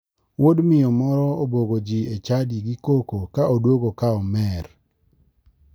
Wuod miyo moro obwogoji e chadi gi koko ka oduogo ka omer.